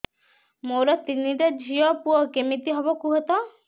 ମୋର ତିନିଟା ଝିଅ ପୁଅ କେମିତି ହବ କୁହତ